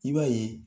I b'a ye